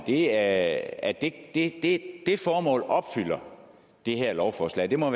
er at det det formål opfylder det her lovforslag det må